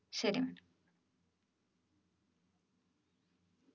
ശരി madam